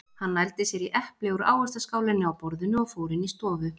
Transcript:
Hann nældi sér í epli úr ávaxtaskálinni á borðinu og fór inn í stofu.